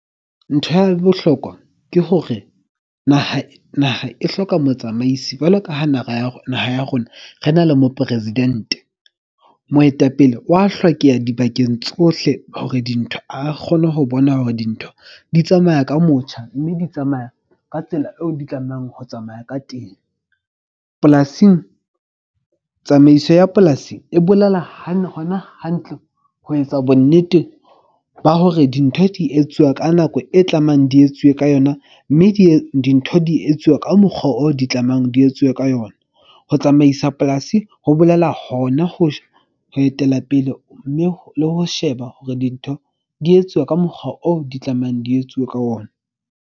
Ntho ya bohlokwa ke hore naha e hloka motsamaisi, jwalo ka ha naha ya rona re na le mopresidente. Moetapele wa hlokeha dibakeng tsohle hore dintho a kgone ho bona hore dintho di tsamaya ka motjha. Mme di tsamaya ka tsela eo di tlamehang ho tsamaya ka teng. Polasing tsamaiso ya polasi e bolela hona hantle ho etsa bo nnete ba hore dintho di etsuwa ka nako e tlamehang di etsuwe ka yona. Mme dintho di etsuwa ka mokgwa oo di tlamehang di etsuwe ka yona. Ho tsamaisa polasi ho bolela hona , ho etela pele. Mme le ho sheba hore dintho di etsuwa ka mokgwa oo di tlamehang di etsuwe ka ona.